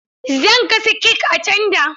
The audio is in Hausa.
Zan gasa kek a tanda.